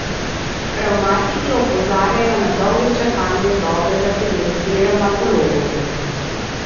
Revmatiki opozarjajo na dolge čakalne dobe za pregled pri revmatologu.